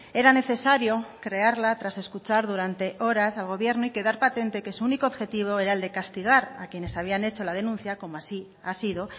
era necesario crearla tras escuchar durante horas al gobierno y quedar patente que su único objetivo era el de castigar a quienes habían hecho la denuncia como así ha sido